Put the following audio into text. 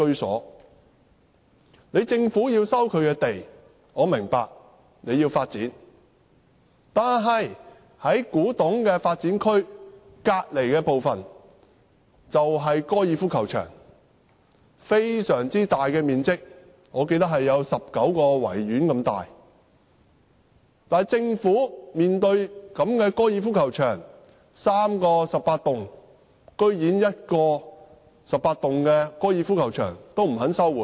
我明白，政府要收回土地發展，但古洞發展區旁邊的高爾夫球場，面積非常大，面積相等於19個維多利亞公園。然而，在3個十八洞的高爾夫球場當中，政府連1個高爾夫球場都不肯收回。